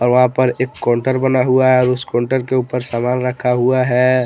वहां पर एक काउंटर बना हुआ है उस काउंटर के ऊपर सामान रखा हुआ है।